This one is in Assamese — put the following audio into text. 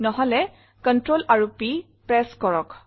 নহলে CTRL আৰু P প্ৰেছ কৰক